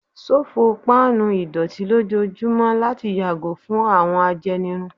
Ṣofo pan idọti lojoojumọ lati yago fun awọn ajenirun